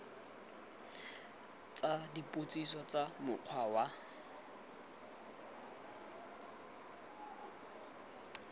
tsa dipotsiso tsa mokgwa wa